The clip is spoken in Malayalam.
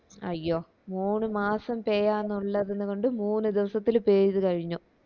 അയ്യോ മൂണ് മാസം പെയ്യാനുള്ളതിന് കൊണ്ട് മൂന്ന് ദിവസത്തില് പെയ്തു കഴിഞ്ഞു